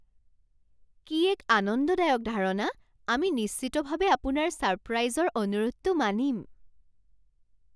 কি এক আনন্দদায়ক ধাৰণা! আমি নিশ্চিতভাৱে আপোনাৰ ছাৰপ্ৰাইজৰ অনুৰোধটো মানিম।